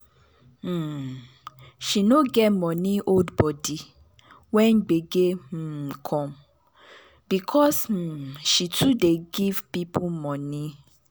um she no get money hold body when gbege um come because um she too dey give people money